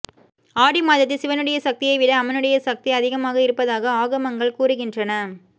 ஆடி மாதத்தில் சிவனுடைய சக்தியைவிட அம்மனுடைய சக்தி அதிகமாக இருப்பதாக ஆகமங்கள் கூறுகின்றன